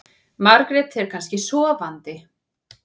Margrét er kannski sofandi.